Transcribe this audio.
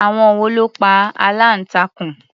Àwọn wo ló pa aláǹtakùn?